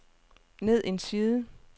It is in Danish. ned en side